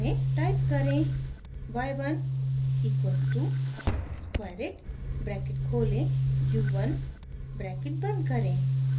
type करें: y1 equals to squareit bracket खोलें u1 bracket बंद करें